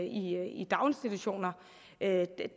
i daginstitutioner